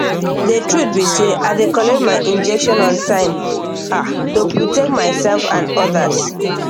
the truth be sey i dey collect my injection on time ah to protect myself and others